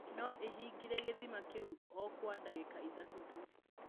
No ĩhingĩre gĩthima kĩu o kwa ndagĩka ithatũ tu.